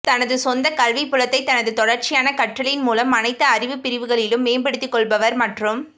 தனது சொந்த கல்விப் புலத்தை தனது தொடர்ச்சியான கற்றலின் மூலம் அனைத்து அறிவுப் பிரிவுகளிலும் மேம்படுத்திக் கொள்பவர் மற்றும்